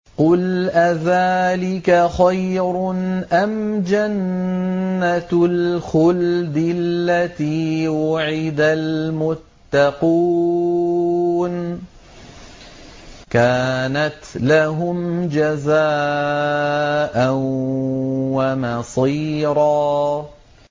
قُلْ أَذَٰلِكَ خَيْرٌ أَمْ جَنَّةُ الْخُلْدِ الَّتِي وُعِدَ الْمُتَّقُونَ ۚ كَانَتْ لَهُمْ جَزَاءً وَمَصِيرًا